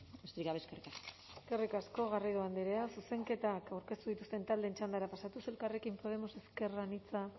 besterik gabe eskerrik asko eskerrik asko garrido andrea zuzenketak aurkeztu dituzten taldeen txandara pasatuz elkarrekin podemos ezker anitza